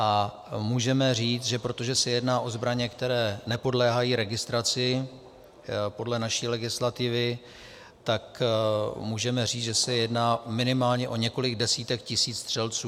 A můžeme říct, že protože se jedná o zbraně, které nepodléhají registraci podle naší legislativy, tak můžeme říct, že se jedná minimálně o několik desítek tisíc střelců.